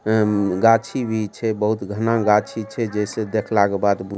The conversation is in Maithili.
हमम गाछी भी छे बहुत घना गाछी छे जैसे देखला क बाद भु --